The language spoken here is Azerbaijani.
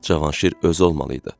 Cavanşir özü olmalı idi.